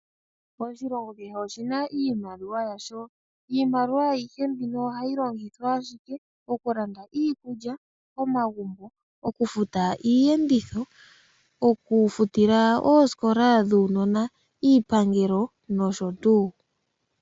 Oshilongo shetu oshina iimaliwa yasho. Iimaliwa ayihe mbino ohayi longithwa ashike okulanda iikulya, okulanda omagumbo, okufuta oosikola dhuunona, iipangelo nosho tuu.